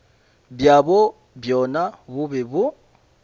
bjabo bjona bo be bo